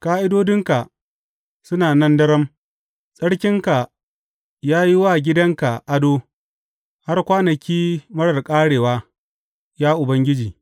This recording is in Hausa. Ƙa’idodinka suna nan daram; tsarki ya yi wa gidanka ado har kwanaki marar ƙarewa, ya Ubangiji.